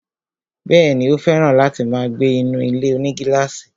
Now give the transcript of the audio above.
Bẹ́ẹ̀ni, ó fẹ̀ràn láti máa gbé inú ilé-onígílàsì